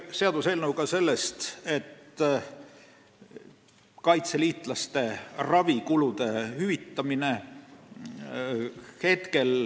Seaduseelnõu käsitleb ka kaitseliitlaste ravikulude hüvitamist.